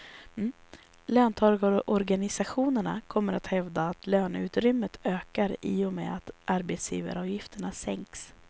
Löntagarorganisationerna kommer att hävda att löneutrymmet ökar i och med att arbetsgivaravgifterna sänks.